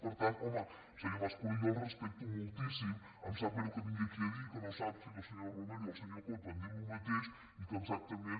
per tant home senyor mas colell jo el respecto moltíssim em sap greu que vingui aquí a dir que no sap si la senyora romero i el senyor coto han dit el mateix i que exactament